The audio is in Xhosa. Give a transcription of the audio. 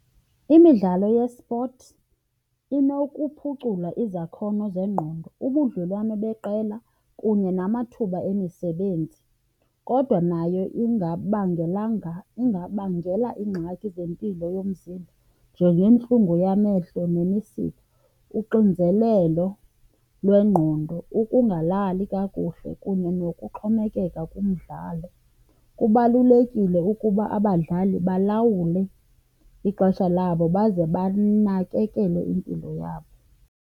Imidlalo yespothi inokuphucula izakhono zengqondo, ubudlelwane beqela kunye namathuba emisebenzi. Kodwa nayo ingabangelanga, ingabangela iingxaki zempilo yomzimba njengentlungu yamehlo nemisipha, uxinzelelo lwengqondo, ukungalali kakuhle kunye nokuxhomekeka kumdlalo. Kubalulekile ukuba abadlali balawule ixesha labo baze banakekele impilo yabo.